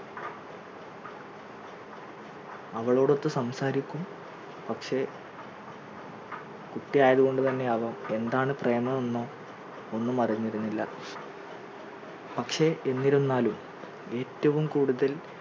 അവളോടൊത്ത് സംസാരിക്കും പക്ഷേ കുട്ടി ആയതുകൊണ്ട് തന്നെ ആവാം എന്താണ് പ്രേമം എന്നോ ഒന്നും അറിഞ്ഞിരുന്നില്ല പക്ഷേ എന്നിരുന്നാലും ഏറ്റവും കൂടുതൽ